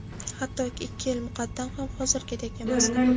Hatto ikki yil muqaddam ham hozirgidek emasdim.